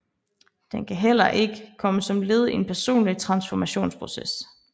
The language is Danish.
Den kan heller ikke komme som led i en personlig transformationsproces